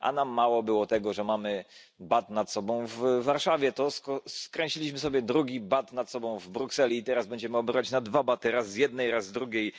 A nam mało było tego, że mamy nad sobą bat w Warszawie, to skręciliśmy sobie drugi bat nad sobą w Brukseli, i teraz będziemy obrywać na dwa baty, raz z jednej, raz z drugiej.